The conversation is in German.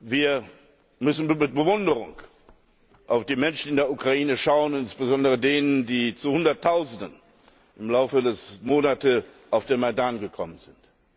Wir müssen mit Bewunderung auf die Menschen in der Ukraine schauen, insbesondere auf die, die zu Hunderttausenden im Laufe der Monate auf den Maidan gekommen sind.